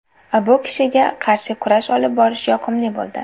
Bu kishiga qarshi kurash olib borish yoqimli bo‘ldi.